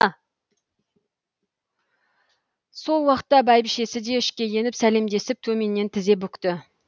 сол уақытта бәйбішесі де ішке еніп сәлемдесіп төменнен тізе бүкті